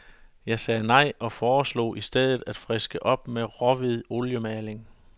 Jeg sagde nej, og foreslog i stedet, at friske op med råhvid oliemaling.